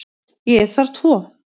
Ég þarf tvo.